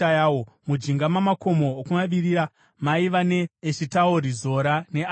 Mujinga mamakomo okumavirira maiva ne: Eshitaori, Zora neAshina,